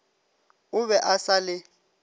o be a sa le